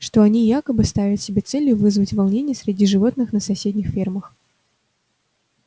что они якобы ставят себе целью вызвать волнения среди животных на соседних фермах